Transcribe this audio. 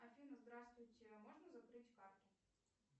афина здравствуйте можно закрыть карту